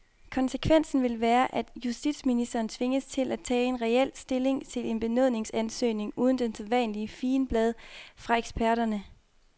Konsekvensen vil være, at justitsministeren tvinges til at tage reel stilling til en benådningsansøgning uden det sædvanlige figenblad fra eksperterne.